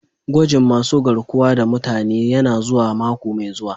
Gwajin masun garkuwa da mutane yana zuwa mako mai zuwa.